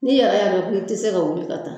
N'i yɛrɛ y'a dɔn ko i tɛ se ka wuli ka taa